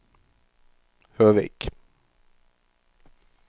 Høvik